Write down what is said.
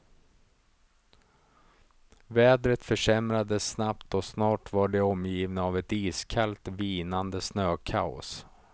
Vädret försämrades snabbt och snart var de omgivna av ett iskallt, vinande snökaos.